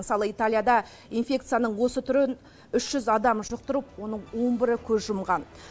мысалы италияда инфекцияның осы түрін үш жүз адам жұқтырып оның он бірі көз жұмған